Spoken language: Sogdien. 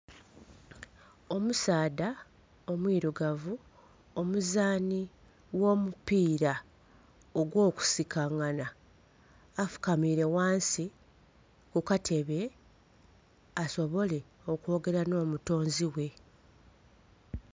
Omusaadha omwirugavu omuzaanhi gho mupira ogwo kusikangana, afukamiire ghansi ku katebe asobole okwogera nho mutunzi ghe.